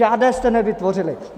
Žádné jste nevytvořili.